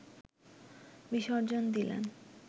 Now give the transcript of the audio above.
বিসর্জন দিলেন